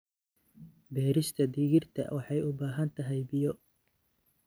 Beerista digirta waxay u baahan tahay biyo.